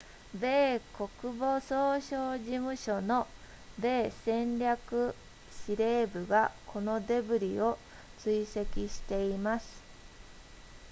米国防総省事務所の米戦略司令部がこのデブリを追跡しています